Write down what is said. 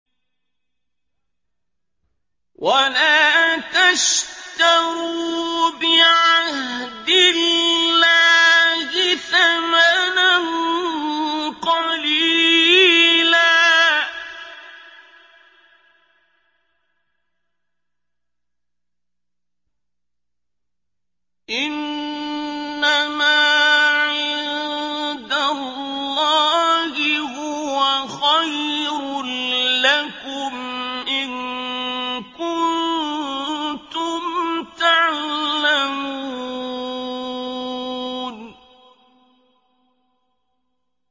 وَلَا تَشْتَرُوا بِعَهْدِ اللَّهِ ثَمَنًا قَلِيلًا ۚ إِنَّمَا عِندَ اللَّهِ هُوَ خَيْرٌ لَّكُمْ إِن كُنتُمْ تَعْلَمُونَ